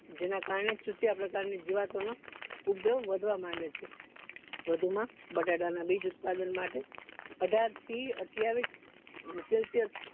જેના કારણે ચૂસ્યા પ્રકારની જીવાતોનો નો ઉગ્રહ વધવા માંડે છે વધુ માં બટેટા ના બીજ ઉત્પાદન માટે અઠાર થી અઠ્યાવીશ celsius